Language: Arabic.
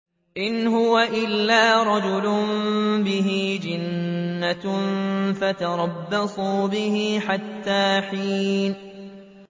إِنْ هُوَ إِلَّا رَجُلٌ بِهِ جِنَّةٌ فَتَرَبَّصُوا بِهِ حَتَّىٰ حِينٍ